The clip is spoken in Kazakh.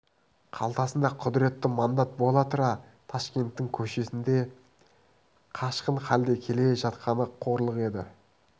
қалтасында құдіретті мандат бола тұра ташкенттің көшесінде қашқын халде келе жатқаны қорлық еді